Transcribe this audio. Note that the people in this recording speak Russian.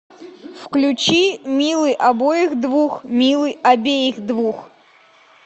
включи милый обоих двух милый обеих двух